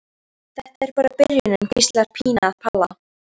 Þetta er bara byrjunin, hvíslar Pína að Palla.